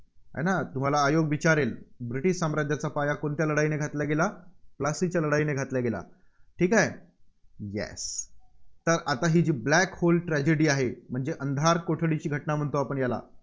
आहे ना? तुम्हाला आयोग विचारेल, ब्रिटिश साम्राज्याचा पाया कोणत्या लढाईने घातला गेला, प्लासीच्या लढाईने घातला गेला. ठीक आहे? Yes तर आता ही जी Black Hole Tragedy आहे, म्हणजे अंधार कोठडीची घटना, म्हणतो याला